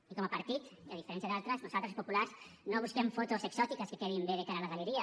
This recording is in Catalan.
i com a partit i a diferència d’altres nosaltres els populars no busquem fotos exòtiques que quedin bé de cara a la galeria